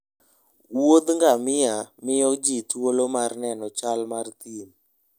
Wuoth gamia miyo ji thuolo mar neno chal mar thim